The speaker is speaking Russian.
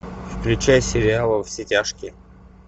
включай сериал во все тяжкие